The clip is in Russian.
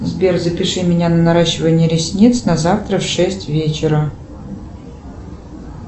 сбер запиши меня на наращивание ресниц на завтра в шесть вечера